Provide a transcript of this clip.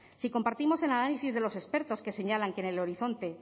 si compartimos el análisis de los expertos que señalan que en el horizonte